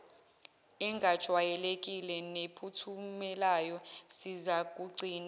engajwayelekile nephumelelayo sizakugcina